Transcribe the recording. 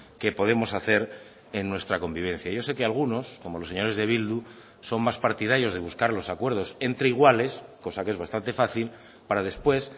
que podemos hacer en nuestra convivencia yo sé que algunos como los señores de bildu son más partidarios de buscar los acuerdos entre iguales cosa que es bastante fácil para después